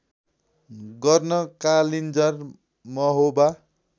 गर्न कालिन्जर महोबा